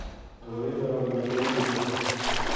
время работы улыбка